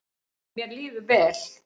Mér líður vel